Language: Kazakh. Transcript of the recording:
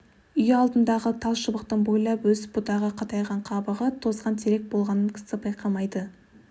үй алдындағы тал шыбықтың бойлап өсіп бұтағы қатайған қабығы тозған терек болғанын кісі байқамайды